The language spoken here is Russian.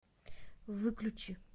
выключи